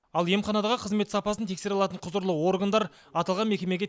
ал емханадағы қызмет сапасын тексере алатын құзырлы органдар аталған мекемеге